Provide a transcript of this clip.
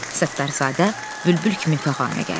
Səttarzadə bülbül kimi fəğanə gəldi.